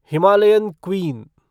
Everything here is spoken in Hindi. Himalayan queen